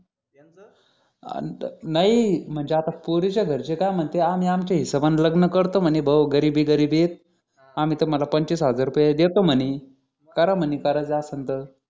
अह नाही म्हणजे आता पोरीच्या घरचे काय महंत आम्ही आमच्या हिशोबान लग्न करते म्हणे भो गरीबी गरीबी हा आम्ही तुम्हाला पंचवीस हजारू पे देतो म्हणे करा म्हणे कराच असेल तर